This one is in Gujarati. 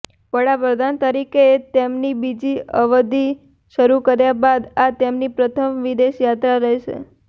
વડાપ્રધાન તરીકે તેમની બીજી અવધિ શરૂ કર્યા બાદ આ તેમની પ્રથમ વિદેશ યાત્રા રહેશે